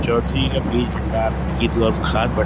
چودھرے ہے بیج بھنڈار کی کھاد بھنڈار --